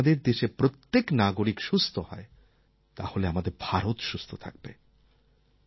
যদি আমাদের দেশের প্রত্যেক নাগরিক সুস্থ হয় তাহলে আমাদের ভারত সুস্থ থাকবে